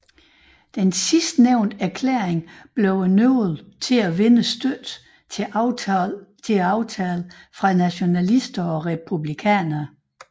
Sidstnævnte erklæring blev nøglen til at vinde støtte til aftalen fra nationalister og republikanere